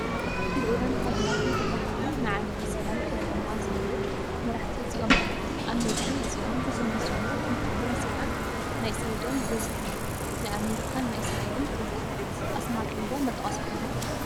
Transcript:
ልኡላን ሃገራት ንኽባሃሉ ንዓለም ሰላም ከሊኦማ ዘለው መራሕቲ እዚኦም እዮም፡፡ ኣብ ምድሪ እዚኦም ብዝምህዝዎ ተንኮልን ሴራን ናይ ሰብ ደም በዚሕዋ፡፡ ናይ ኣሜሪካን ናይ እስራኤልን ኘሬዚዳንትታት፡፡ ኣስማቶም ዶ ንጠቐስኩምዎም?